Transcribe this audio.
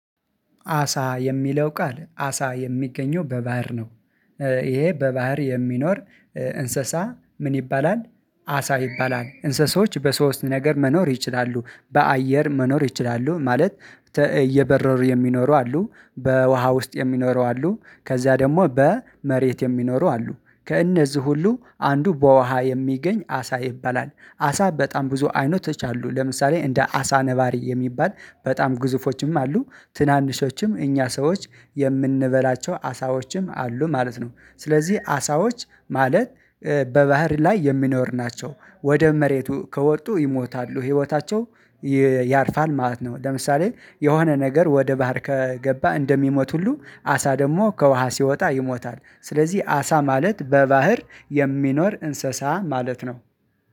አሳ የሚለው ቃል አሳ የሚገኘው በባህር ነው ይሄ በባህር የሚኖር እንስሳ ምን ይባላል አሳ ይባላል እንስሳዎች በሶስት ነገር መኖር ይችላሉ በአየር መኖር ይችላሉ ማለት እየበረሩ የሚኖሩ አሉ በውሃ ውስጥ የሚኖሩ አሉ ከዛ ደግሞ በመሬት የሚኖሩ አሉ ከእነዚህ ሁሉ አንዱ በውሃ የሚገኝ አሳ ይበላል አሳ በጣም ብዙ አይነቶች አሉ ለምሳሌ እንደ አሳ ነባሪ የሚባል በጣም ግዙፎችም አሉ ትናንሾችም እኛ ሰዎች የምንበላቸው አሳዎችም አሉ ማለት ነው ስለዚህ አሳዎች ማለት በባህር ላይ የሚኖር ናቸው ወደ መሬቱ ከወጡ ይሞታሉ ህይወታቸው ያርፋል ማለት ነው ለምሳሌ የሆነ ነገር ወደ ባህር ከገባ እንደሚሞት ሁሉ አሳ ደግሞ ከውሃ ሲወጣ ይሞታል ስለዚህ አሳ ማለት በባህር የሚኖር እንስሳ ማለት ነው።